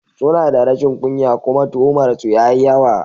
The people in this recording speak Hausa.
Suna da rashin kunya kuma tuhumar su yayi yawa.